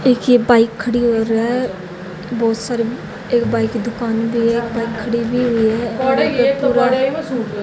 एक ये बाइक खड़ी हो रहा बहोत सारे एक बाइक की दुकान भी है एक बाइक खड़ी भी हुई है और ये पूरा--